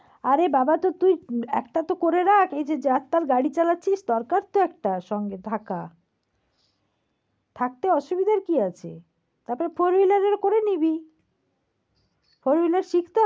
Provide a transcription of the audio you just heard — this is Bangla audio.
আরে বাবা তো তুই একটা তো করে রাখ এই যে রাস্তায় গাড়ি চালাচ্ছিস দরকার তো একটা সঙ্গে থাকা। থাকতে অসুবিধার কি আছে? তা তোর four-wheeler হলে করে নিবি। four-wheeler শিখ~